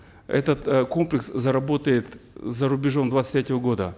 этот э комплекс заработает за рубежом двадцать третьего года